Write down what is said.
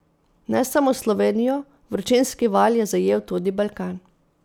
Ne samo Slovenijo, vročinski val je zajel tudi Balkan.